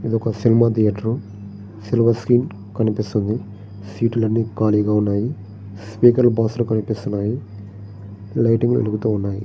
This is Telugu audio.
ఇది ఒక సినిమా ధియేటర్ మీద సిల్వర్ స్క్రీన్ కనిపిస్తుంది. సీట్లన్నీ ఖాళీగా ఉన్నాయి. స్పీకర్ బాక్సు లు కనిపిస్తూన్నాయి. లైట్ లు వెలుగుటూ ఉన్నాయి.